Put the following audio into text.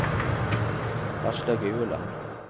Aslaug Ueland